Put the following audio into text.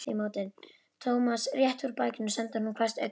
Thomas rétti úr bakinu og sendi honum hvasst augnaráð.